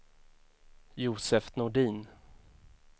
Josef Nordin